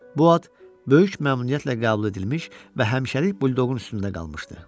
Bu ad böyük məmnuniyyətlə qəbul edilmiş və həmişəlik buldoqun üstündə qalmışdı.